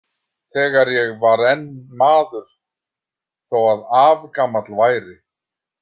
Þegar ég var enn maður þó að afgamall væri.